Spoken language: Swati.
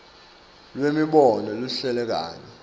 lwemibono lehlukene kanye